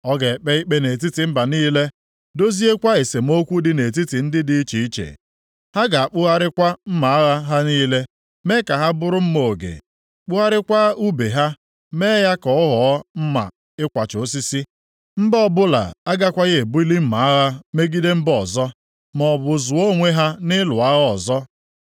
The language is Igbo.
Ọ ga-ekpe ikpe nʼetiti mba niile, doziekwa esemokwu dị nʼetiti ndị dị iche iche. Ha ga-akpụgharịkwa mma agha ha niile mee ka ha bụrụ mma oge; kpụgharịkwa ùbe ha mee ya ka ọ ghọọ mma ịkwacha osisi. Mba ọbụla agakwaghị ebuli mma agha megide mba ọzọ, maọbụ zụọ onwe ha nʼịlụ agha ọzọ.